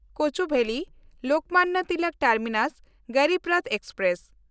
Cooch Behar-Lokmanya Tilak terminus Garib Rath express